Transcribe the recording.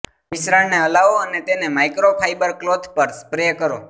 મિશ્રણને હલાવો અને તેને માઇક્રોફાયબર ક્લોથ પર સ્પ્રે કરો